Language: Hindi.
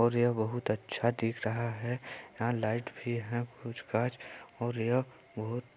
और यह बहुत अच्छा दिख रहा है यहाँ लाइट भी है कुछ काच और यह बहुत--